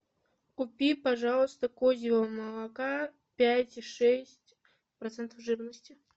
купи пожалуйста козьего молока пять и шесть процентов жирности